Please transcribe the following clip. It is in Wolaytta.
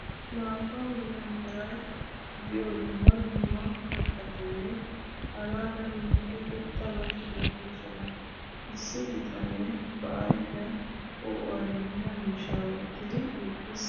maata mala meray diyo dumma dumma katattinne hara daro lo'iya irxxabati beetoosona. issi bitanee ba ayfiyan poo'uwa immiya miishshaa wottidi eqqiis.